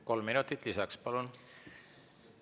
Kolm minutit lisaks, palun!